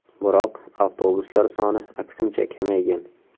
Biroq avtobuslar soni aksincha kamaygan.